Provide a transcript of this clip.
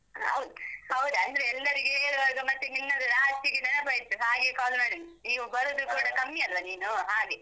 ಹೌದ್ ಹೌದಂದ್ರೆ ಎಲ್ಲರಿಗೆ ಹೇಳ್ವಾಗ ಮತ್ತೆ ನಿನ್ನದು last ಗೆ ನೆನಪಾಯ್ತು ಹಾಗೆ call ಮಾಡಿದ್ದು. ನೀವು ಬರುದು ಕೂಡ ಕಮ್ಮಿ ಅಲ್ವಾ ನೀನು ಹಾಗೆ.